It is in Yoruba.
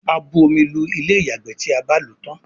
a bù omí Lu Ilé-ìyàgbé tí a bá ló tán.